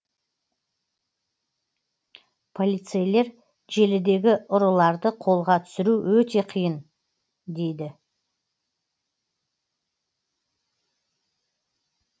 полицейлер желідегі ұрыларды қолға түсіру өте қиын дейді